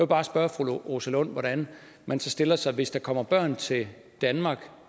bare spørge fru rosa lund om hvordan man stiller sig hvis der kommer børn til danmark